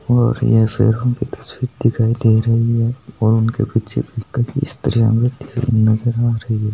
और यह सेरो की तस्वीर दिखाय दे रही है और उनके पीछे भी खाफी स्त्रिया नजर आ रही है।